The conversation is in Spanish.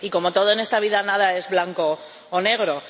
Y, como todo en esta vida, nada es blanco o negro.